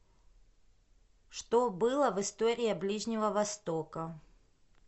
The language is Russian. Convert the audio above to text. что было в история ближнего востока